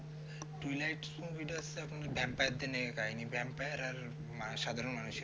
twilight movie টা হচ্ছে আপনার vampire দের নিয়ে কাহিনী vampire আর সাধারণ মানুষের